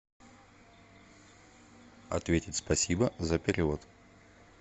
ответить спасибо за перевод